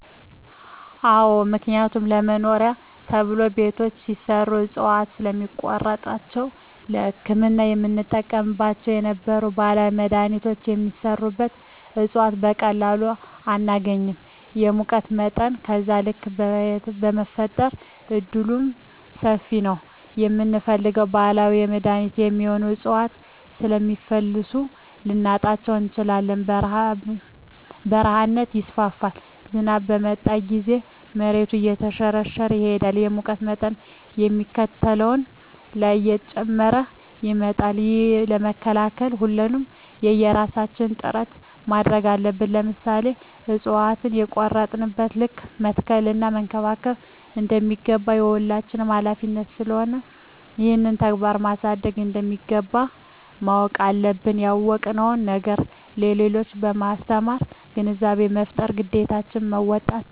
አዎ ምክንያቱም ለመኖሪያ ተብሎ ቤቶች ሲሰሩ እፅዋቶችን ስለሚቆርጧቸዉ ለህክምና የምንጠቀምባቸው የነበሩ ባህላዊ መድሀኒቶች የሚሰሩበት እፅዋት በቀላሉ አናገኝም የሙቀት መጠንም በዛዉ ልክ የመፈጠር እድሉምሰፊ ነዉ የምንፈልገዉን ባህላዊ ለመድኃኒትነት የሚሆኑ እፅዋቶችን ስለሚፈልሱ ልናጣቸዉ እንችላለን በረሀነት ይስፋፋል ዝናብ በመጣ ጊዜም መሬቱ እየተሸረሸረ ይሄዳል የሙቀት መጠን ከሚባለዉ በላይ እየጨመረ ይመጣል ይህንን ለመከላከል ሁላችንም የየራሳችን ጥረት ማድረግ አለብን ለምሳሌ እፅዋቶችን በቆረጥን ልክ መትከል እና መንከባከብ እንደሚገባ የሁላችንም ሀላፊነት ስለሆነ ይህንን ተግባራዊ ማድረግ እንደሚገባ ማወቅ አለብን ያወቅነዉን ነገር ለሌሎች በማስተማር ግንዛቤ በመፍጠር ግዴታችን መወጣት ይገባል